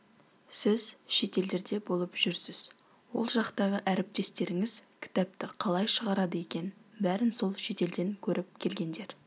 сіз шетелдерде болып жүрсіз ол жақтағы әріптестеріңіз кітапты қалай шағарады екен бәрін сол шетелден көріп келгендер